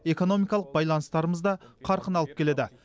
экономикалық байланыстарымыз да қарқын алып келеді